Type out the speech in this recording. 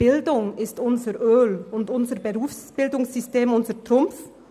Bildung ist unser Öl, und unser Berufsbildungssystem ist unser Trumpf.